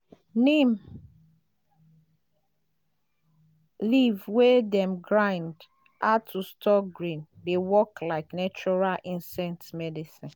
neem leaf wey dem grind add to store grain dey work like natural insect medicine.